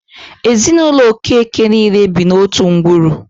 Ezinụlọ Okeke niile bi n'otu ngwuru.